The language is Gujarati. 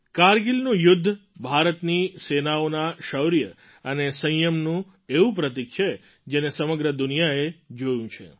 કારગિલનું યુદ્ધ ભારતની સેનાઓના શૌર્ય અને સંયમનું એવું પ્રતીક છે જેને સમગ્ર દુનિયાએ જોયું છે